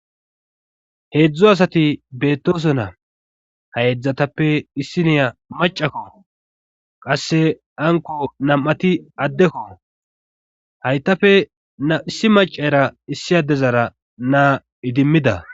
Heedzdzo asati beettoso na hayedzdzatappe issi niya macakko qasse anko nam7ati addekko haytafe nam7issi macara issi adezara naa idimmida.